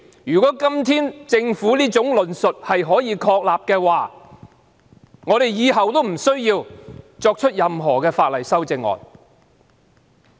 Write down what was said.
如果政府今天的論述成立的話，我們以後都無須就任何法案提出修正案。